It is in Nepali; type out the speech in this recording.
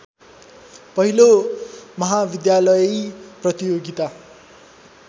पहिलो महाविद्यालयी प्रतियोगिता